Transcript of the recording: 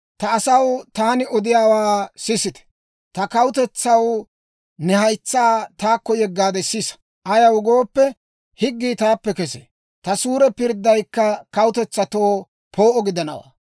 «Ta asaw; taani odiyaawaa sisite. Ta kawutetsaw, ne haytsaa taakko yeggaade sisa. Ayaw gooppe, higgii taappe kesee; ta suure pirddaykka kawutetsatoo poo'o gidanawaa.